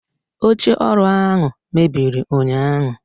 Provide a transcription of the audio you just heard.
oche oru ahu mebiri unyahu